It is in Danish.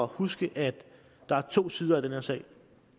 huske at der er to sider af den her sag